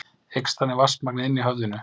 Eykst þannig vatnsmagnið inni í höfðinu.